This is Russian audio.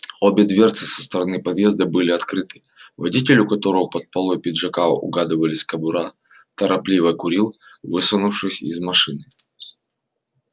обе дверцы со стороны подъезда были открыты водитель у которого под полой пиджака угадывались кобура торопливо курил высунувшись из машины